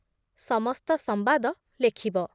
ସମସ୍ତ ସମ୍ବାଦ ଲେଖିବ ।